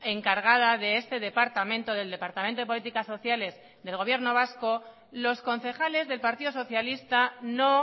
encargada de este departamento del departamento de políticas sociales del gobierno vasco los concejales del partido socialista no